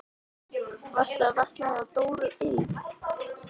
Varstu að versla hjá Dóru ilm?